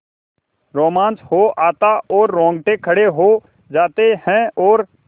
रोमांच हो आता है रोंगटे खड़े हो जाते हैं और